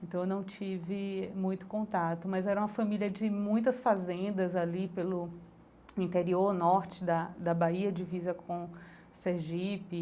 Então eu não tive muito contato, mas era uma família de muitas fazendas ali pelo interior norte da da Bahia divisa com Sergipe.